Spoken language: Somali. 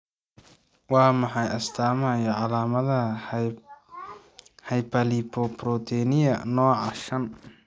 Waa maxay astamaha iyo calaamadaha Hyperlipoproteinemia nooca shaan?